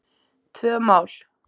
Tvö mál.